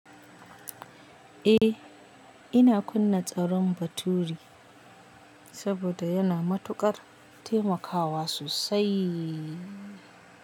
Eh, ina kunna tsaron bature saboda yana matuƙar taimakawa sosai.